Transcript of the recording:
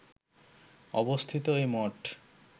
অবস্থিত এ মঠ